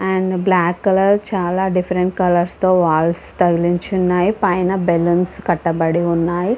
And black colour చాలా different colour walls తగిల్లిచి ఉన్నాయి .పైన బల్లూన్స్ కట్టబడి ఉన్నాయి .